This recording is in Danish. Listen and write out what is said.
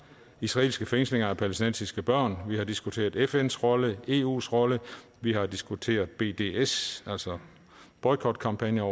israelske fængslinger af palæstinensiske børn vi har diskuteret fns rolle eus rolle vi har diskuteret bds altså boykotkampagner